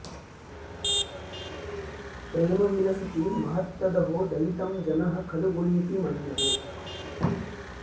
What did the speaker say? प्रेम विलसति महत्तदहो दयितं जनः खलु गुणीति मन्यते